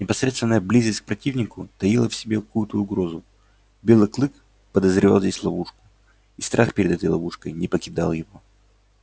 непосредственная близость к противнику таила в себе какую то угрозу белый клык подозревал здесь ловушку и страх перед этой ловушкой не покидал его